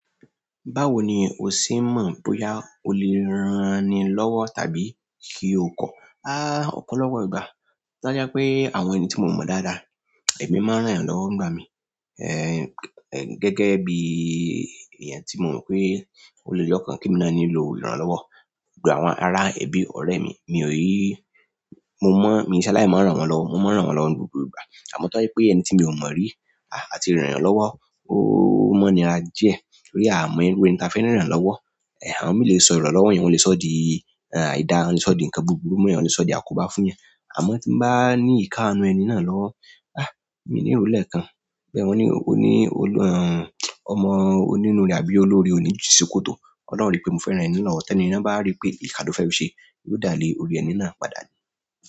Báwo ni o sì ń mọ̀ bóyá o lè rán ẹni un lọ́wọ́ tàbí kí o kọ́? Há! Ọ̀pọ̀lọpọ̀ ìgbà. Tọ́jáẹ́ pé àwọn ẹni tí mo mọ̀ dáadáa, èmi máa ń ràn yẹn lọ́wọ́ ń gba mi. Eh, gẹ́gẹ́ bí i èèyàn tí mo mọ̀ pé ó lè lọ́kàn kí mi náà ni lò ń rán lọ́wọ́. Gbogbo àwọn ará ẹbí, ọ̀rẹ́ mi, mi ò yí, mo mọ̀, mi ṣaláì mọ̀ ran wọ́n lọ. Mo máa ń ràn wọ́n lọ́wọ́ ń gbogbo ìgbà. Àmọ́ tó jẹ́ pé ẹni tí mi ò mọ̀ rí, àti ràn yàn lọ́wọ́, ó mọ́ ń nira díẹ̀. Torí a à mọ irú ẹni táa fẹ́ ràn lọwọ́ eh, àwọn mìíràn lè sọ ìrànlọ́wọ́ yẹn, wọ́n le sọ di, eh, àìda, wọ́n lè sọ di nǹkan búburú mọ́, wọ́n lè sọ di àkóbá fún yán. Àmọ́ tí n bá ní ìkánú ẹni náà lọ́wọ́, há! Èmi ní ìrù lẹ̀ kan. Bẹ́ẹ̀ wọ́n ní, oní, olù, ehn, ọmọ onínúre àbí olóore òní jìn ṣòkòtò. Ọlọ́run rí pé mo fẹ́ rán ẹni náà lọ́wọ́, tẹ́ni yẹ́n báá rí pé ìkà lòún fẹ́ fi ṣe, yóò dá lé orí ẹni náà padà le.